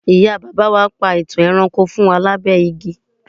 ìyá bàbá wa pa itan ẹranko fún wa labẹ igi